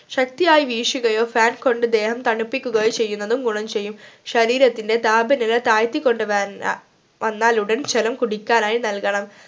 ശക്തിയായി വീശുകയോ fan കൊണ്ട് ദേഹം തണുപ്പിക്കുകയോ ചെയ്യുന്നതും ഗുണം ചെയ്യും ശരീരത്തിൻറെ താപനില തായിത്തികൊണ്ടു വൻ വന്നാലുടൻ ജലം കുടിക്കാനായി നൽകണം